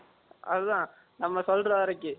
அதான் நாம சொல்ர வரைக்கும்